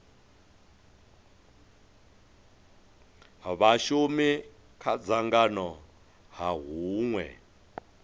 vhashumi kha dzangano ha hunwe